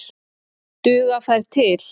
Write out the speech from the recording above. Duga þær til?